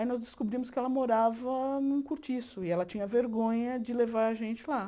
Aí nós descobrimos que ela morava num cortiço e ela tinha vergonha de levar a gente lá.